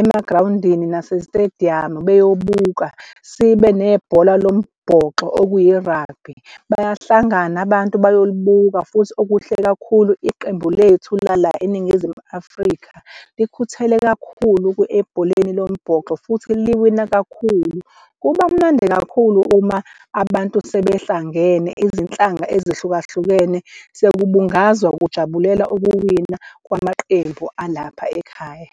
emagrawundini nasezitediyamu beyobuka, sibe nebhola lombhoxo okuyi-rugalby bayahlangana abantu bayolibuka futhi okuhle kakhulu iqembu lethu lala eNingizimu Afrika likhuthele kakhulu ebholeni lombhoxo futhi liwina kakhulu. Kuba mnandi kakhulu uma abantu sebehlangene izinhlanga ezihlukahlukene sekubungazwa kujabulelwa ukuwina kwamaqembu alapha ekhaya.